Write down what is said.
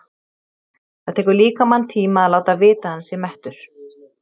Það tekur líkamann tíma að láta vita að hann sé mettur.